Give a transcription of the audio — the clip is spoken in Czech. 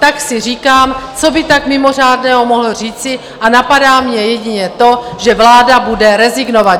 Tak si říkám, co by tak mimořádného mohl říci, a napadá mě jedině to, že vláda bude rezignovat.